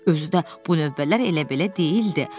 Özü də bu növbələr elə-belə deyildi.